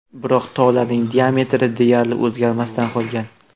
Biroq tolaning diametri deyarli o‘zgarmasdan qolgan.